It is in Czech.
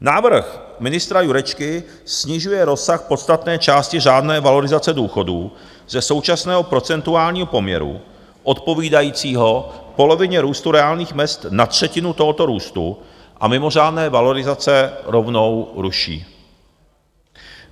Návrh ministra Jurečky snižuje rozsah podstatné části řádné valorizace důchodů ze současného procentuálního poměru odpovídajícího polovině růstu reálných mezd na třetinu tohoto růstu a mimořádné valorizace rovnou ruší.